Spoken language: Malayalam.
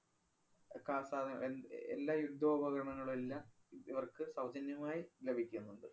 എന്~ എല്ലാം യുദ്ധോപകരണങ്ങളുമെല്ലാം ഇ~ ഇവര്‍ക്ക് സൗജന്യമായി ലഭിക്കുന്നുണ്ട്.